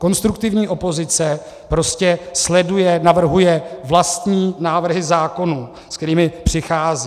Konstruktivní opozice prostě sleduje, navrhuje vlastní návrhy zákonů, s kterými přichází.